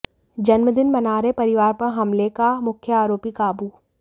जन्मदिन मना रहे परिवार पर हमले का मुख्य आरोपी काबू